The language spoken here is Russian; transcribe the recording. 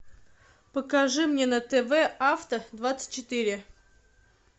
покажи мне на тв авто двадцать четыре